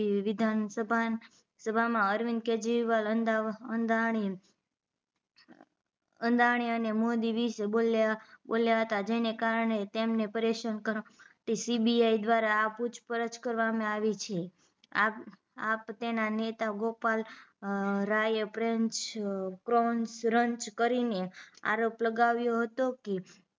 તે CBI દ્વારા આ પૂછપરછ કરવામાં આવી છે આપ આપ તેના નેતા ગોપાલ રાયે પ્રેન્ચ પરૉન્સરન્સ કરી ને આરોપ લગાવ્યો હતો કે